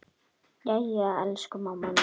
Jæja, elsku mamma mín.